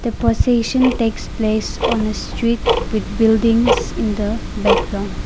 a procession takes place on the street with buildings in the background.